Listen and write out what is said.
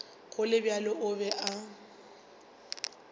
go le bjalo o be